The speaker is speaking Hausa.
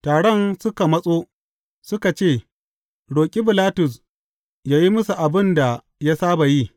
Taron suka matso, suka ce roƙi Bilatus yă yi musu abin da ya saba yi.